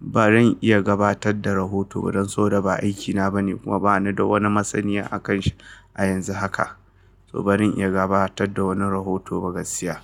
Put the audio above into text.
ba zan iya gabatar da rahoto ba don so da ba aikina bane kuma ba ni da wani masaniya a kan shi a yanzu haka. To ba zan iya gabatar da wani rahoto ba gaskiya.